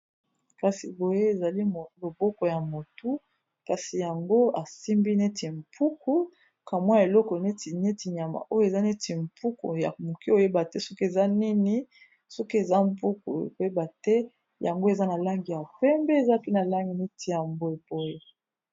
Kasi boye ezali loboko ya motu kasi yango asimbi neti mpuku kamwa eloko neti neti nyama oyo eza neti mpuku ya moke oyeba te soki eza nini soki eza mpuku koyeba te yango eza na langi ya pembe eza pi na langi neti ya mbwe poyo